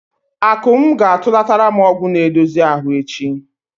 Akụm ga-atụlatara m ọgwụ na-edozi ahụ echi.